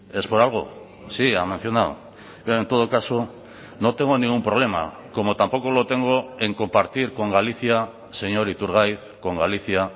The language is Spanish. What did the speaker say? es por algo sí ha mencionado en todo caso no tengo ningún problema como tampoco lo tengo en compartir con galicia señor iturgaiz con galicia